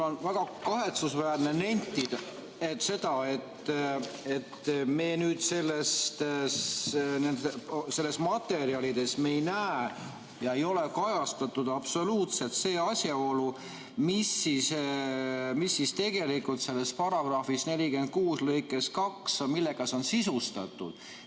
" On väga kahetsusväärne nentida, et nendes materjalides ei ole kajastatud absoluutselt seda asjaolu, millega see § 46 lõige 2 on sisustatud.